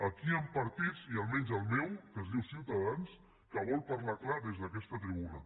aquí hi han partits i almenys el meu que es diu ciutadans que volen parlar clar des d’aquesta tribuna